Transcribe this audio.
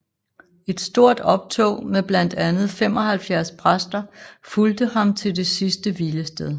Et stort optog med blandt andet 75 præster fulgte ham til det sidste hvilested